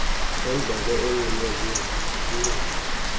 nendlebe egqunywe yincindi